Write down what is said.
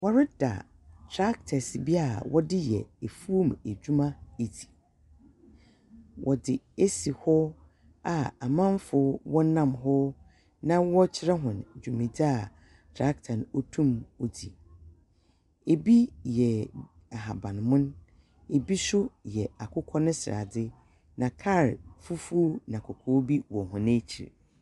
Wɔreda tractors bi a wɔde yɛ efuo mu edwuma edzi. Wɔdze esi hɔ a amanfo wɔnam ho na wɔrekyerɛ hɔn dwumedzi a tractor no otum odzi. Ebi yɛ ahaban mono, ebi nso yɛ akokɔ ne sradze, na kaa fufuo na kɔkɔɔ bi wɔ hɔn ekyir.